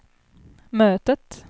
mötet